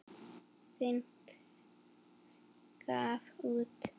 Sting gaf út.